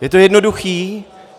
Je to jednoduché.